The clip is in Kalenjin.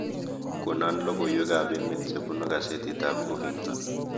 Konon logoywekab emet chebunu kasetitab hufinkton